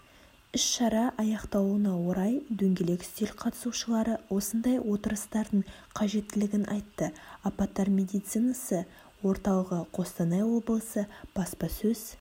іс-шара аяқталуына орай дөңгелек үстел қатысушылары осындай отырыстардың қажеттілігін айтты апаттар медицинасы орталығы қостанай облысы баспасөз